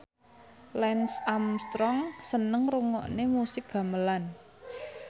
Lance Armstrong seneng ngrungokne musik gamelan